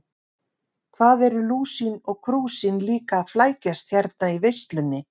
Hvað eru Lúsin og Krúsin líka að flækjast hérna í veislunni.